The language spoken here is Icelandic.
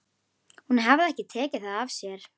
Hún hafði ekki tekið það af sér.